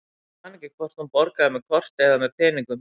Ég man ekki hvort hún borgaði með korti eða með peningum.